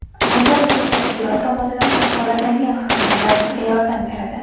Bunda bizning tashkilot tomonidan kafolatlangan xizmatlar sizga yordam beradi.